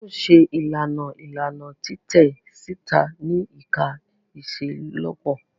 A yoo ṣe ilana ilana titẹ sita ni ẹka iṣelọpọ.